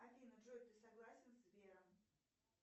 афина джой ты согласен с сбером